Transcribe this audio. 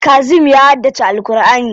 Kazim ya haddace Al'kur'ani.